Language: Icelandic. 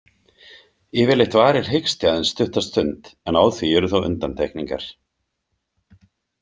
Yfirleitt varir hiksti aðeins stutta stund, en á því eru þó undantekningar.